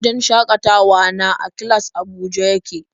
Wajen shakatawa na A-class a Abuja yake.